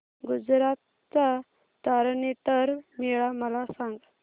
गुजरात चा तारनेतर मेळा मला सांग